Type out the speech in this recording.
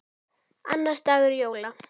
Annar dagur jóla.